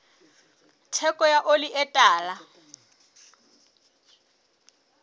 theko ya oli e tala